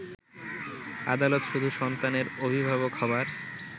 আদালত শুধু সন্তানের অভিভাবক হবার